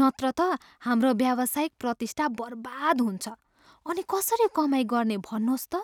नत्र त हाम्रो व्यावसायिक प्रतिष्ठा बर्बाद हुन्छ। अनि कसरी कमाइ गर्ने भन्नुहोस् त?